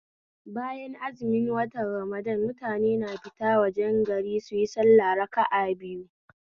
Bayan azumin watan ramadan mutane na fita wajen gari suyi sallah raka'a biyu